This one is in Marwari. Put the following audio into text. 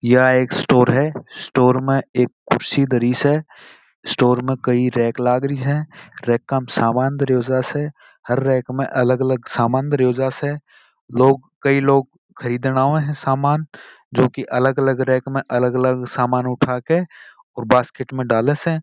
यह एक स्टोर है स्टोर में एक कुर्सी रखी है स्टोर में कई रैक लगी है रैक में सामान रखा है हर रैक में अलग अलग सामान रखा है कई लोग खरीदने आये है सामान जो की अलग अलग रैक से अलग अलग सामान उठा कर अपनी बास्केट में डाले स।